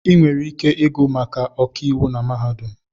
Ị nwere ike ịgụ maka ọkàiwụ na mahadum